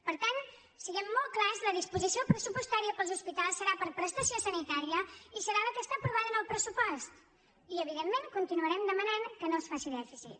per tant siguem molts clars la disposició pressupostària per als hospitals serà per a prestació sanitària i serà la que està aprovada en el pressupost i evidentment continuarem demanant que no es faci dèficit